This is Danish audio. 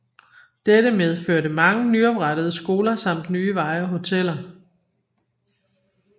Dette medførte mange nyoprettede skoler samt nye veje og hoteller